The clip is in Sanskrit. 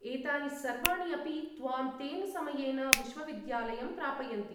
एतानि सर्वाणि अपि त्वां तेन समयेन विश्वविद्यालयं प्रापयन्ति।